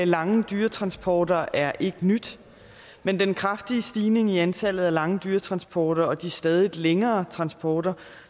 lange dyretransporter er ikke nyt men den kraftige stigning i antallet af lange dyretransporter og de stadig længere transporter